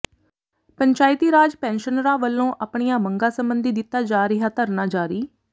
ਪੰਚਾਇਤੀ ਰਾਜ ਪੈਨਸ਼ਨਰਾਂ ਵਲੋਂ ਆਪਣੀਆਂ ਮੰਗਾਂ ਸਬੰਧੀ ਦਿੱਤਾ ਜਾ ਰਿਹਾ ਧਰਨਾ ਜਾਰੀ